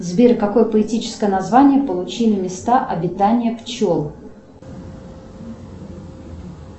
сбер какое поэтическое название получили места обитания пчел